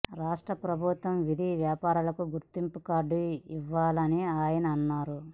రాష్ట్ర ప్రభుత్వం వీధి వ్యాపారులకు గుర్తింపు కార్డు ఇవ్వాలని ఆయన అన్నారు